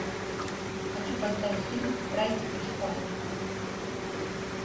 хочу поставить фильм страсти по чапаю